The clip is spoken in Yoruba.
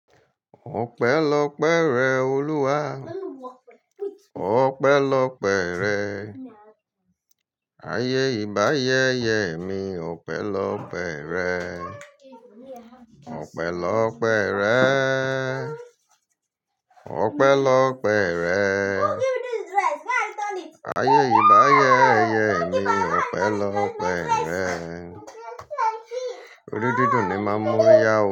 Òpẹ̀lọpẹ̀ rẹ Olúwa, òpẹ̀lọpẹ̀ rẹ. Ayé ìbáyẹyẹ mi, òpẹ̀lọpẹ̀ rẹ. Òpẹ̀lọpẹ̀ rẹ, òpẹ̀lọpẹ̀ rẹ. Ayé ìbáyẹyẹ mi, òpẹ̀lọpẹ̀ rẹ. Orí dúdú ni máa mú yá wo.